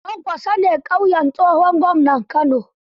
Kwankwaso ne ƙauyen tsohon gwamnan Kano